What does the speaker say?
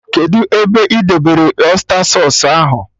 Kedụ ebe ị debere ọysta sausụ ahụ?